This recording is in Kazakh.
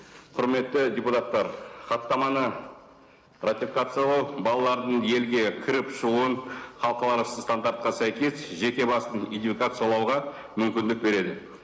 құрметті депутаттар хаттаманы ратификациялау балалардың елге кіріп шығуын стандартқа сәйкес жеке басын идентификациялауға мүмкіндік береді